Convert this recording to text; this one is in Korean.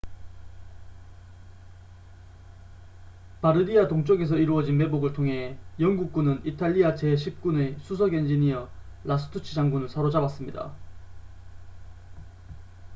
바르디아 동쪽에서 이루어진 매복을 통해 영국군은 이탈리아 제10군의 수석 엔지니어 라스투치 장군을 사로잡았습니다